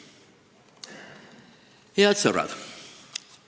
Head sõbrad!